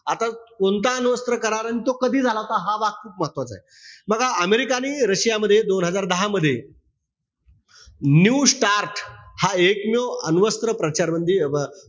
आता कोणता अणुअस्त्र करार अन तो कधी झाला होता, हा भाग महत्वाचाय. बघा अमेरिका आणि रशियामध्ये, दोन हजार दहा मध्ये, new start हा एकमेव अणुअस्त्र प्रचार म्हणजे, अं